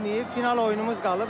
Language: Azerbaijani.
Final oyunumuz qalıb.